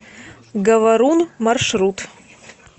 говорун маршрут